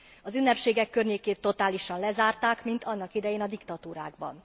Az ünnepségek környékét totálisan lezárták, mint annak idején a diktatúrákban.